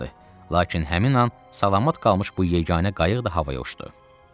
Lakin həmin an salamat qalmış bu yeganə qayıq da havaya uçdu.